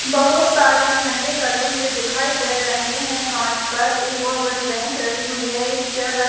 बहोत सारे झंडे लगे हुए दिखाई दे रहे हैं कांच पर एक बहोत बड़ी बेंच रखी हुई है एक चेयर र--